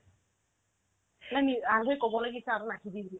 এ নিজ আলহীক ক'ব লাগিছে আৰু নাহিবি বুলি